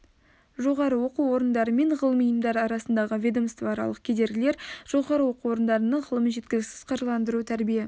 жоғары оқу орындары мен ғылыми ұйымдар арасындағы ведомствоаралық кедергілер жоғары оқу орындарының ғылымын жеткіліксіз қаржыландыру тәрбие